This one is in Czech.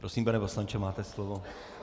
Prosím, pane poslanče, máte slovo.